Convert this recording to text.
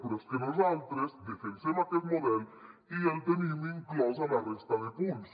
però és que nosaltres defensem aquest model i el tenim inclòs a la resta de punts